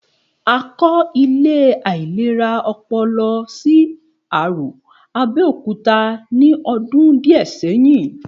A kọ́ ilé ìlera ọpọlọ sí Arò, Abẹ́òkúta ní ọdún díẹ̀ sẹ́yìn